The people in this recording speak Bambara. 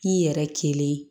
K'i yɛrɛ kelen